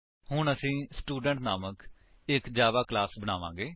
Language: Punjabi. ਹੁਣ ਅਸੀ ਸਟੂਡੈਂਟ ਨਾਮਕ ਇੱਕ ਜਾਵਾ ਕਲਾਸ ਬਣਾਵਾਂਗੇ